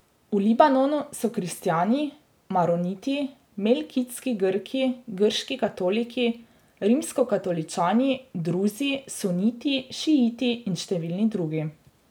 V Libanonu so kristjani, maroniti, melkitski Grki, grški katoliki, rimskokatoličani, druzi, suniti, šiiti in številni drugi.